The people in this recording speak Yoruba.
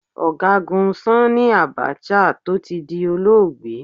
Ọ̀gágun Sanni Abacha, tó ti di olóògbé.